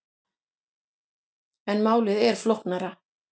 En málið er flóknara.